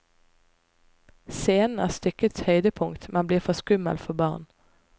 Scenen er stykkets høydepunkt, men blir for skummel for barn.